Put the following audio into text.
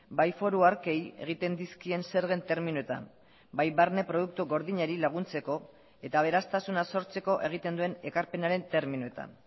bai foru arkei egiten dizkien zergen terminoetan bai barne produktu gordinari laguntzeko eta aberastasuna sortzeko egiten duen ekarpenaren terminoetan